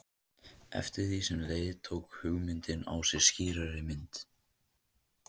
Eftir því sem á leið tók hugmyndin á sig skýrari mynd.